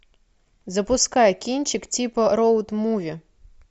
запускай кинчик типа роуд муви